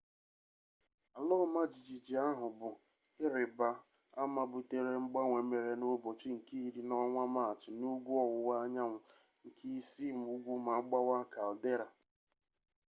ala ọma jijiji ahụ dị ịrịba ama butere mgbanwe mere n'ụbọchị nke iri n'ọnwa maachị n'ugwu ọwụwa anyanwụ nke isi ugwu mgbawa kaldera